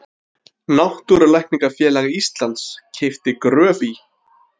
Náttúrulækningafélag Íslands keypti Gröf í